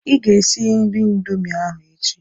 Ị ga-esi nri Indomie ahụ echi.